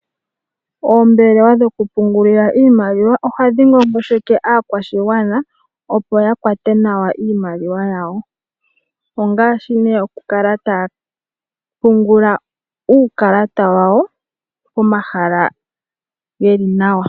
Oombelewa dhoku pungulila iimaliwa ohadhi ngongosheke aakwashigwana, opo ya kwate nawa iimaliwa yawo ongaashi ne oku kala taya pungula uukalata wawo pomahala geli nawa.